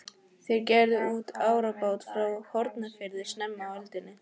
Þeir gerðu út árabát frá Hornafirði snemma á öldinni.